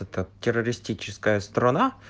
как террористическая страна